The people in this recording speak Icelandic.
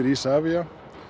Isavia